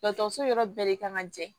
Dɔgɔtɔrɔso yɔrɔ bɛɛ de kan ka jɛ